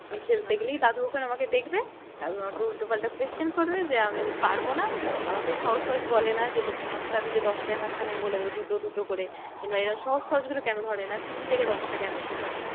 মানে দাদু ওখানে আমাকে দেখবে, দাদু আমাকে উল্টো পাল্টা question করবে যে আমি পারবো না। আমাকে সহজ সহজ বলে না যে, পাঁচটা দিলে দশটায় ভাগ তাহলে আমি বলে দেব দুটো দুটো করে। কিংবা এরকম সহজ সহজ গুলো কেন ধরে না? তিনটে কে দশটা কেন? কিংবা